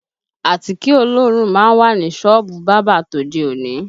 Àtíkè olóòórùn má ń wà ní sọ́ọ̀bù bábà tòde òní